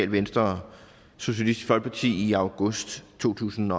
venstre og socialistisk folkeparti i august to tusind